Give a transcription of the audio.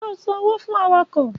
Ṣò san òwó fún àwàkọ?